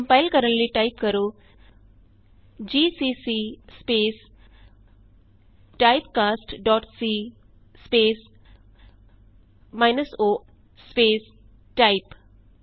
compile ਕਰਨ ਲਈ type ਕਰੋ GCC space typecast dot c minus o space type